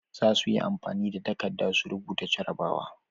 Zasuyi amfani da takadda su rubuta jarabawa